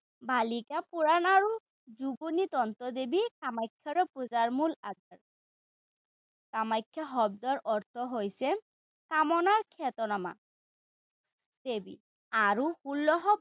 কালিকা পুৰাণ আৰু যোগিনী তন্ত্ৰ দেৱী কামাখ্যাৰো পূজাৰ মূল আস্থান। কামাখ্যা শব্দৰ অৰ্থ হৈছে কামনা খ্যাতনামা দেৱী আৰু ষোল্লশ।